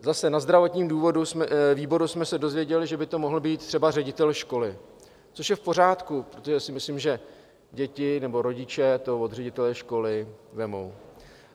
Zase na zdravotním výboru jsme se dozvěděli, že by to mohl být třeba ředitel školy, což je v pořádku, protože si myslím, že děti nebo rodiče to od ředitele školy vezmou.